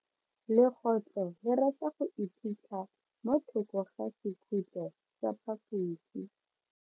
Legotlo le rata go iphitlha mo thoko ga sekhutlo sa phaposi.